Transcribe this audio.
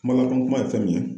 Kuma lakolo kura ye fɛn min ye